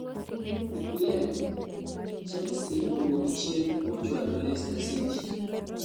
EPL:Chelsea owuok chien mochwado leister City